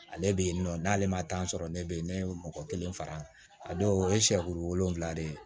Ale bɛ yen nɔ n'ale ma tan sɔrɔ ne bɛ yen ne ye mɔgɔ kelen fara a dɔw o ye siyɛ duuru ye